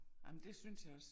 Ej men det synes jeg også